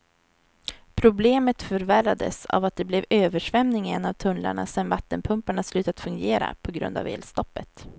Problemet förvärrades av att det blev översvämning i en av tunnlarna sedan vattenpumparna slutat fungera på grund av elstoppet.